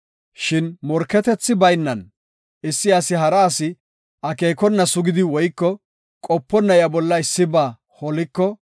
“Shin morketethi baynan, issi asi hara asi akeekona sugidi woyko qoponna iya bolla issiba holiko,